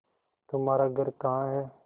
तुम्हारा घर कहाँ है